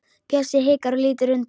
Bjössi hikar og lítur undan.